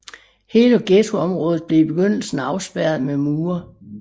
Hele ghettoområdet blev i begyndelsen afspærret med mure